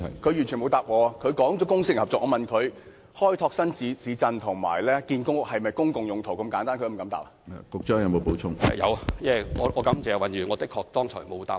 他提及公私營合作，而我問他開拓新市鎮及興建公屋是否"公共用途"，他是否連這麼簡單的問題也不敢回答？